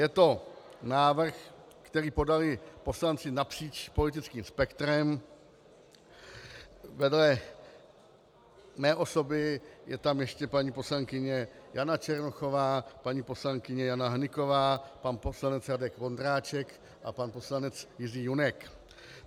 Je to návrh, který podali poslanci napříč politickým spektrem, vedle mé osoby je tam ještě paní poslankyně Jana Černochová, paní poslankyně Jana Hnyková, pan poslanec Radek Vondráček a pan poslanec Jiří Junek.